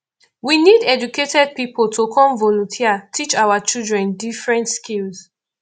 we need educated people to come volunteer teach our children different skills